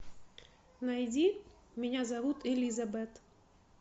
найди меня зовут элизабет